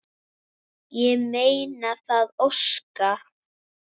Ég meina það sko.